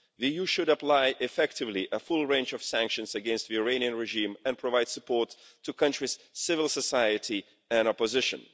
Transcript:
The EU should apply effectively a full range of sanctions against the Iranian regime and provide support to the country's civil society and opposition.